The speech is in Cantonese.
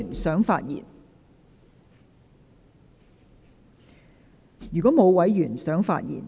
是否有委員想發言？